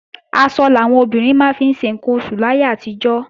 Aṣọ làwọn obìnrin máa ń fi ṣe ǹkan oṣù láyé àtijọ́